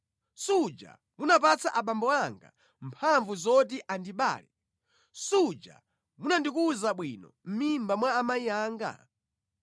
Suja munapatsa abambo anga mphamvu zoti andibale, suja munandikuza bwino mʼmimba mwa amayi anga?